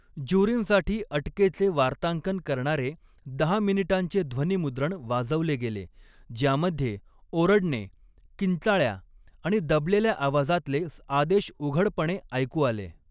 ज्युरींसाठी अटकेचे वार्तांकन करणारे दहा मिनिटांचे ध्वनीमुद्रण वाजवले गेले, ज्यामध्ये ओरडणे, किंचाळ्या आणि दबलेल्या आवाजातले आदेश उघडपणे ऐकू आले.